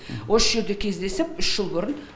осы жерде кездесіп үш жыл бұрын